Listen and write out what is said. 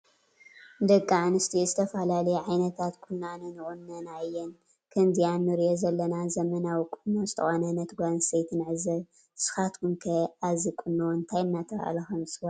ደቂ አንስትዬ ዝተፈላለዩ ዓይነታት ቁናኖ ይቁነና እየን። ከምዚ እንሪኦ ዘለና ዘመናዊ ቁኖ ዝተቆነነት ጋል አንስተይቲ ንዕዘብ። ንስካትኩም ከ አዚ ቁኖ እንታይ አናተባህል ከም ዝፀዋዕ ትፈልጡዎ ዶ?